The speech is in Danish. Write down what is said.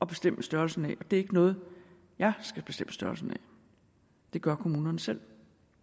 bestemme størrelsen af det er ikke noget jeg skal bestemme størrelsen af det gør kommunerne selv